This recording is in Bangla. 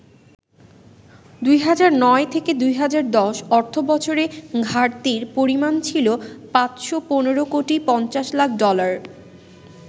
২০০৯-১০ অর্থবছরে ঘাটতির পরিমাণ ছিল ৫১৫ কোটি ৫০ লাখ ডলার।